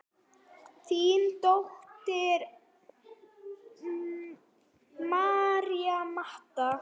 Þín dóttir, María Marta.